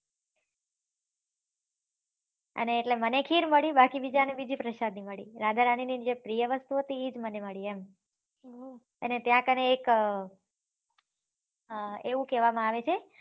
અને એટલે મને ખીર મળી બાકી બીજા ને બીજી પ્રસાદી મળી રાધા રાની ને જે પ્રિય વસ્તુ હતી ઈજ મને મળી એમ અને ત્યાં કને એક એવુ કેહવા માં આવે છે